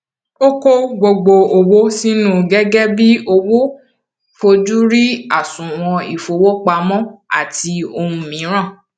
o ko gbogbo owo sinu gẹgẹbi owo fojú rí àsùnwòn ifowopamọ àti ohun miran